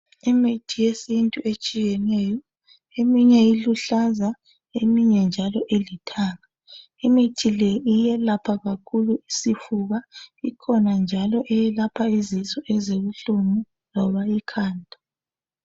Imithi yesiNtu etshiyeneyo eminye iluhlaza eminye njalo ilithanga. Imithi le iyelapha kakhulu isifuba ikhona njalo eyelapha izisu esibuhlungu loba ikhanda.